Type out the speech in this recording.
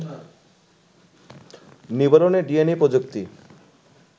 নিবারণে ডিএনএ প্রযুক্তি